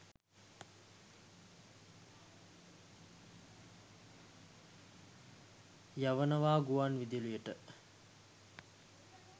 යවනව ගුවන් විදුලියට.